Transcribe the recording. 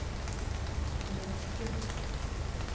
Nesbru